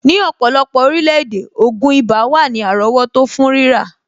Ní ọ̀pọ̀lọpọ̀ orílẹ̀-èdè, ògùn ibà wà ní àrọ́wọ́tó fún rírà.